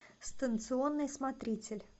станционный смотритель